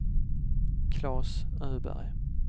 Klas Öberg